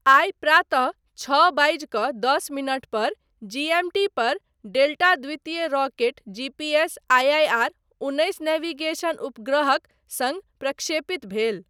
आइ प्रातः छओ बाजि कऽ दस मिनट पर जीएमटी पर डेल्टा द्वितीय रॉकेट जीपीएस आईआईआर उन्नैस नेविगेशन उपग्रहक सङ्ग प्रक्षेपित भेल।